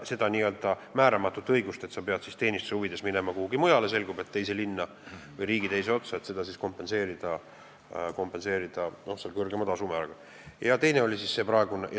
Seda n-ö määramatut õigust, et sa pead teenistuse huvides minema kuhugi mujale, teise linna või riigi teise otsa, kompenseeritaks kõrgema tasumääraga.